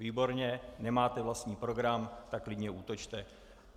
Výborně, nemáte vlastní program, tak klidně útočte.